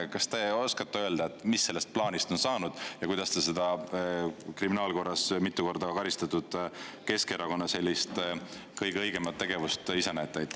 Kas te oskate öelda, et mis sellest plaanist on saanud ja kuidas te seda kriminaalkorras mitu korda karistatud Keskerakonna sellist kõige õigemat tegevust ise näete?